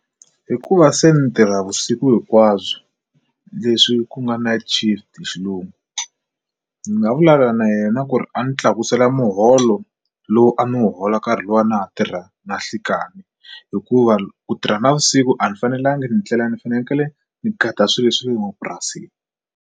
Hikuva se ndzi tirha vusiku hinkwabyo leswi ku nga night-shift hi xilungu ndzi nga vulavula na yena ku ri a ndzi tlakusela muholo lowu a ni wu hola nkarhi luwa a na ha tirha na nhlekani hikuva ku tirha navusiku a ndzi fanelangi ndlela ndzi fanekele ndzi gada swilo swa le mapurasini.